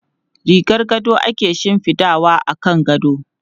Rigar gado ake shifidawa akan gado.